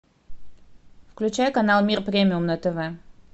включай канал мир премиум на тв